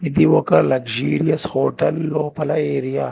ఈ ఒక luxurious hotel లోపల ఏరియా --